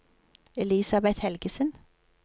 Elisabet Helgesen